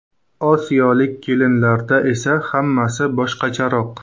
Osiyolik kelinlarda esa hammasi boshqacharoq.